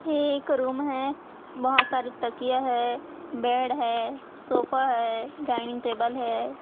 ये एक रूम है बहोत सारी तकिया है बेड है सोफा है डाइनिंग टेबल है।